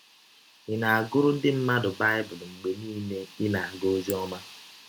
Ị̀ na - agụrụ ndị mmadụ Baịbụl mgbe niile ị na - aga ọzi ọma?